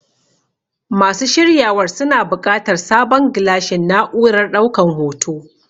Masu shiryawar suna buƙatar sabon gilashin na'urar ɗaukan hoto.